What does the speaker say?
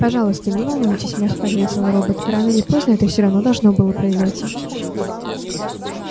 пожалуйста не волнуйтесь мягко ответил робот рано или поздно это всё равно должно было произойти